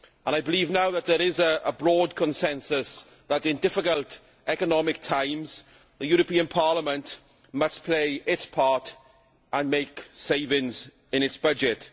I believe now that there is a broad consensus that in difficult economic times the European Parliament must play its part and make savings in its budget.